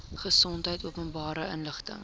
gesondheid openbare inligting